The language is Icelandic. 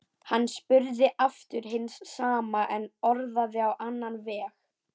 Hann spurði aftur hins sama en orðaði á annan veg.